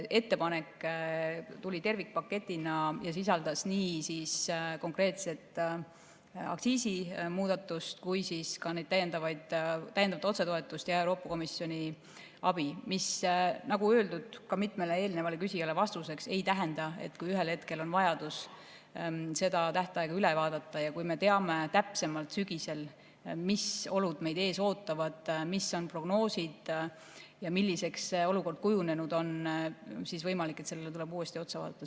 Ettepanek tuli tervikpaketina ja sisaldas nii konkreetset aktsiisimuudatust kui ka täiendavat otsetoetust ja Euroopa Komisjoni abi, mis, nagu öeldud ka mitmele eelnevale küsijale vastuseks, ei tähenda, et kui ühel hetkel on vajadus tähtaega üle vaadata ja kui me teame täpsemalt sügisel, mis olud meid ees ootavad, mis on prognoosid ja milliseks see olukord kujunenud on, siis võimalik, et sellele tuleb uuesti otsa vaadata.